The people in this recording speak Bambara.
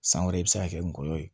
San wɛrɛ i bɛ se ka kɛ ngɔyɔ ye